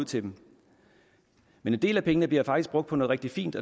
til dem men en del af pengene bliver faktisk brugt på noget rigtig fint